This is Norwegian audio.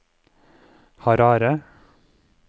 Harare